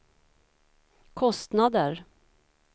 kostnader